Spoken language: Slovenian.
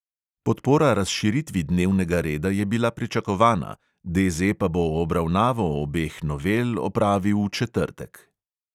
Podpora razširitvi dnevnega reda je bila pričakovana, DZ pa bo obravnavo obeh novel opravil v četrtek.